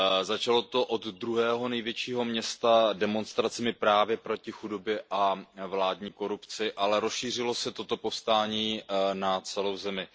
Začalo to od druhého největšího města demonstracemi právě proti chudobě a vládní korupci, ale rozšířilo se toto povstání na celou zemi.